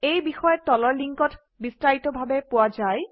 এই বিষয়ে তলৰ লিংকত বিস্তাৰিতভাৱে পোৱা যায়